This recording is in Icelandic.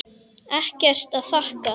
Ekkert að þakka.